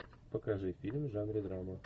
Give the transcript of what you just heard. покажи фильм в жанре драма